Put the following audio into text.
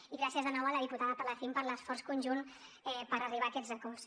i gràcies de nou a la diputada palacín per l’esforç conjunt per arribar a aquests acords